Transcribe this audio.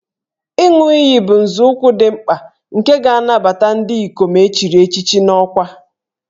Ịṅụ iyi bụ nzọụkwụ dị mkpa nke ga-anabata ndị ikom e chiri echichi n'ọkwa